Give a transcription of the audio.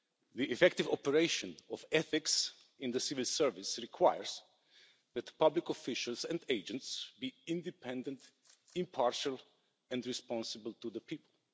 The effective operation of ethics in the civil service requires that public officials and agents be independent, impartial and responsible to the people.